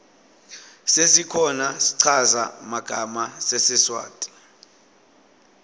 sesikhona schaza magama sesiswati